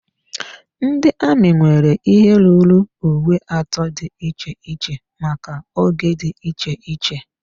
Ndị amị nwere ihe ruru uwe atọ dị iche iche maka oge dị iche iche.